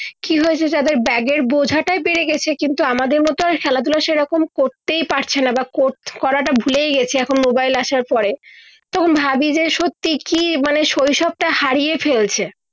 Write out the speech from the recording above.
কি হয়েছে যাদের ব্যাগের বোঝাটা বেরে গেছে কিন্তু আমাদের মত খেলা ধুলো সে রকম করতেই পারছে না বা কর করাটা ভুলেই গেছে এখন মোবাইল আছে আর পড়ে যখন তখন ভাবি যে সত্যি কি মানে শৈশব টা হারিয়ে ফেলছে